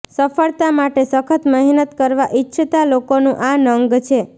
સફળતા માટે સખત મહેનત કરવા ઇચ્છતાં લોકોનું આ નંગ છે